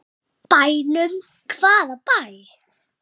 Bænum, hvaða bæ?